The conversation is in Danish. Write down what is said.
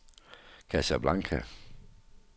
Casablanca